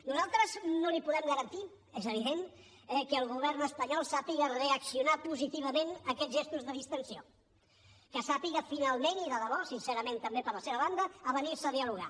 nosaltres no li podem garantir és evident que el govern espanyol sàpiga reaccionar positivament a aquests gestos de distensió que sàpiga finalment i de debò sincerament també per la seva banda avenir se a dialogar